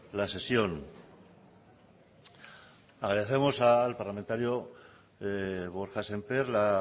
la sesión agradecemos al parlamentario borja semper la